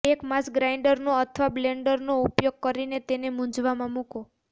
એક માંસ ગ્રાઇન્ડરનો અથવા બ્લેન્ડરનો ઉપયોગ કરીને તેને મૂઝમાં મુકો